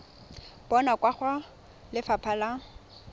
bonwa kwa go lefapha la